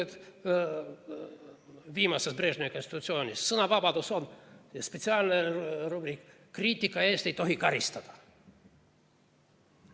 Sealses viimases, Brežnevi konstitutsioonis oli sõnavabaduse kohta spetsiaalne rubriik kriitika eest ei tohi karistada.